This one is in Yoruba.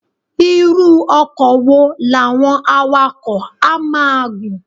Irú ọkọ̀ wo làwọn awakọ̀ á máa gùn?